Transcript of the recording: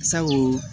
Sabu